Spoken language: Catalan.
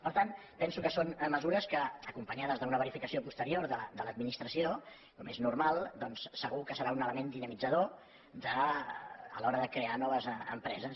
per tant penso que són mesures que acompanyades d’una verificació posterior de l’administració com és normal doncs segur que seran un element dinamitzador a l’hora de crear noves empreses